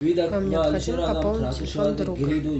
вам необходимо пополнить телефон друга